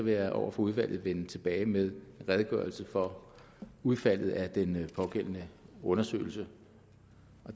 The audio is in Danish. jeg over for udvalget vende tilbage med en redegørelse for udfaldet af den pågældende undersøgelse